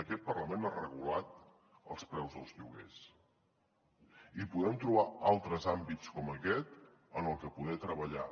aquest parlament ha regulat els preus dels lloguers i podem trobar altres àmbits com aquest en els que poder treballar